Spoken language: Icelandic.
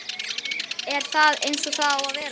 er það eins og það á að vera?